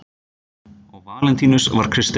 Og Valentínus var kristinn.